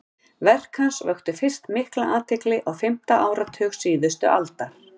verk hans vöktu fyrst mikla athygli á fimmta áratug síðustu aldar